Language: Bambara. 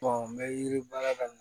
n bɛ yiri baara daminɛ